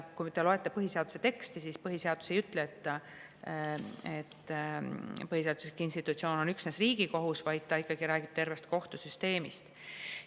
Kui te loete põhiseaduse teksti, siis põhiseadus ei ütle, et põhiseaduslik institutsioon on üksnes Riigikohus, vaid ta räägib ikkagi tervest kohtusüsteemist.